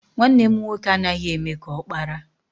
Nwanne m nwoke anaghị eme ka ọkpara.